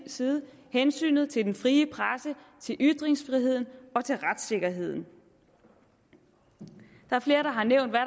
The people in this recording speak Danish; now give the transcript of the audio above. side hensynet til den frie presse til ytringsfriheden og til retssikkerheden der er flere der har nævnt hvad